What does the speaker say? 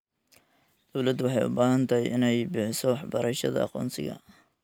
Dawladdu waxay u baahan tahay inay bixiso waxbarashada aqoonsiga.